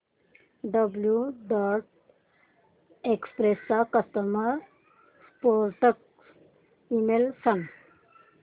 blue Dart Express चा customer support email सांग